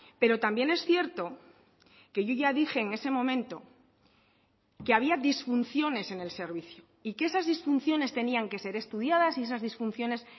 pero también es cierto que yo ya dije en ese momento que había disfunciones en el servicio y que esas disfunciones tenían que ser estudiadas y esas disfunciones